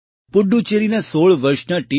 પુડુચેરીના ૧૬ વર્ષના ટી